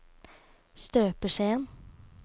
støpeskjeen